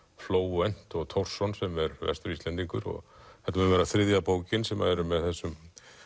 Flóvent og sem er Vestur Íslendingur og þetta mun vera þriðja bókin sem er með þessum